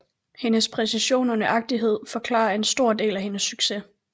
Hendes præcision og nøjagtighed forklarer en stor del af hendes succes